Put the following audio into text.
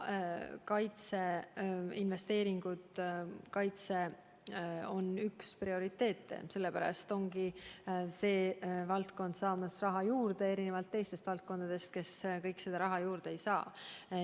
Kaitseinvesteeringud on üks prioriteete ja sellepärast saabki see valdkond raha juurde, erinevalt teistest valdkondadest, kes raha juurde ei saa.